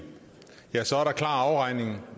så er der klar afregning